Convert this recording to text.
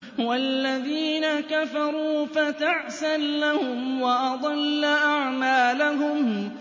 وَالَّذِينَ كَفَرُوا فَتَعْسًا لَّهُمْ وَأَضَلَّ أَعْمَالَهُمْ